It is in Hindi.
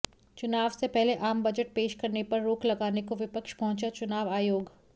चुनाव से पहले आम बजट पेश करने पर रोक लगाने को विपक्ष पहुंचा चुनाव आयोग